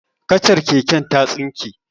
Kacar keken ta tsinke.